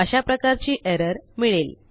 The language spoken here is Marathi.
अशा प्रकारची एरर मिळेल